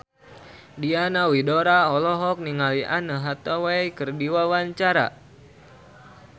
Diana Widoera olohok ningali Anne Hathaway keur diwawancara